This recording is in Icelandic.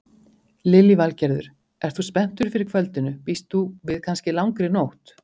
Lillý Valgerður: Ert þú spenntur fyrir kvöldinu, býst þú við kannski langri nótt?